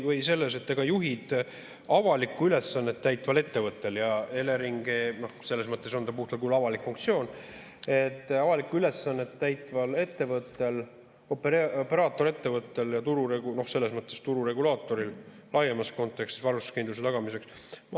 Ega juhid avalikku ülesannet täitval ettevõttel – ja Eleringil selles mõttes on puhtal kujul avalik funktsioon –, operaatorettevõttel ja selles mõttes tururegulaatoril laiemas kontekstis varustuskindluse tagamiseks ...